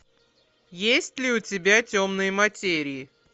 есть ли у тебя темные материи